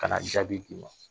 Ka na jaabi d'i ma